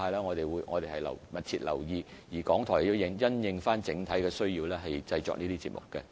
我們會密切留意傳媒生態的發展，而港台也會因應整體需要製作有關節目。